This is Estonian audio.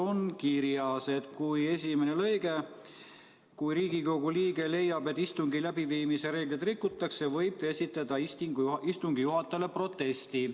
Selle esimeses lõikes on kirjas, et kui Riigikogu liige leiab, et istungi läbiviimise reegleid rikutakse, võib ta esitada istungi juhatajale protesti.